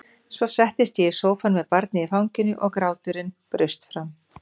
Svo settist ég í sófann með barnið í fanginu og gráturinn braust fram.